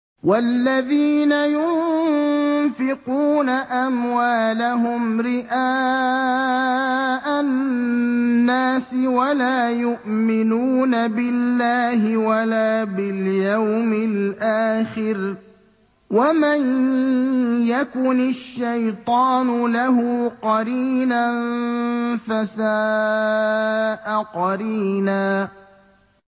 وَالَّذِينَ يُنفِقُونَ أَمْوَالَهُمْ رِئَاءَ النَّاسِ وَلَا يُؤْمِنُونَ بِاللَّهِ وَلَا بِالْيَوْمِ الْآخِرِ ۗ وَمَن يَكُنِ الشَّيْطَانُ لَهُ قَرِينًا فَسَاءَ قَرِينًا